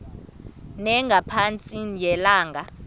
ne ngqatsini yelanga